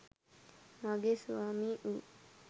මාගේ ස්වාමී වු